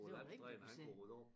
Så det var der ingen der kunne se